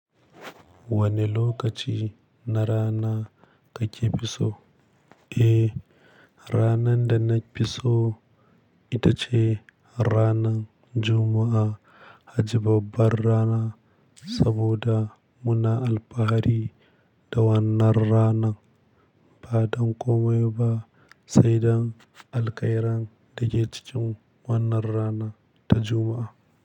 Wane lokaci na rana kake fi so? Eh, ranarda nafiso itace ranar Juma'a. Kaji babbar rana saboda muna alfahari da wannan rana. Ba don komai ba sai don alkairan da ke cikin wannan rana ta Juma'a.